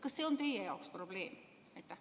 Kas see on teie jaoks probleem?